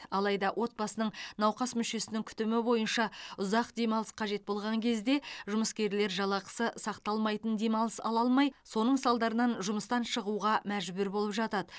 алайда отбасының науқас мүшесінің күтімі бойынша ұзақ демалыс қажет болған кезде жұмыскерлер жалақысы сақталмайтын демалыс ала алмай соның салдарынан жұмыстан шығуға мәжбүр болып жатады